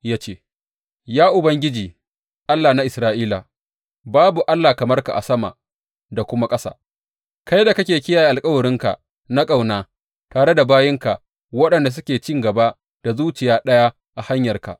Ya ce, Ya Ubangiji, Allah na Isra’ila, babu Allah kamar ka a sama da kuma ƙasa, kai da kake kiyaye alkawarinka na ƙauna tare da bayinka waɗanda suke cin gaba da zuciya ɗaya a hanyarka.